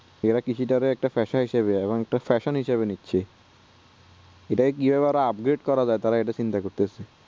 এরা কৃষি তাকে fashion হিসেবে একটা নিচ্ছে অরে এটাকে কি ভাবে upgrade করা যাই তারা ইটা চিন্তা করতেছে